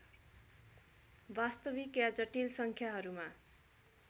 वास्तविक या जटिल सङ्ख्याहरूमा